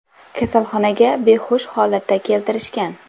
Kasalxonaga behush holatda keltirishgan.